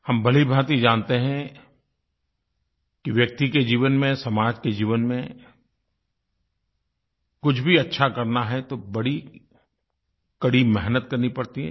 हम भलीभाँति जानते हैं कि व्यक्ति के जीवन में समाज के जीवन में कुछ भी अच्छा करना है तो बड़ी कड़ी मेहनत करनी पड़ती है